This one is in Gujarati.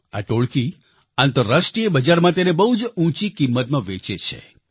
આ ટોળકી આંતરરાષ્ટ્રિય બજારમાં તેને બહુ જ ઉંચી કિંમતમાં વેચે છે